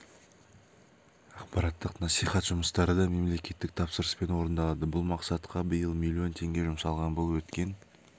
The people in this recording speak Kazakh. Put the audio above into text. ақпараттық насихат жұмыстары да мемлекеттік тапсырыспен орындалады бұл мақсатқа биыл миллион теңге жұмсалған бұл өткен